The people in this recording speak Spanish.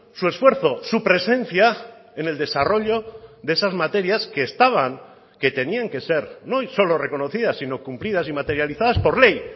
su esfuerzo su presencia en el desarrollo de esas materias que estaban que tenían que ser no hoy solo reconocidas sino cumplidas y materializadas por ley